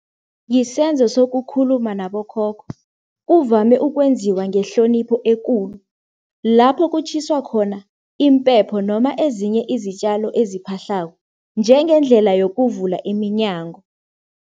Yisenzo sokukhuluma nabokhokho. Kuvame ukwenziwa ngehlonipho ekulu. Lapho kutjhiswa khona impepho noma ezinye izitjalo eziphahlako, njengendlela yokuvula iminyango.